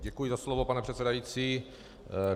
Děkuji za slovo, pane předsedající.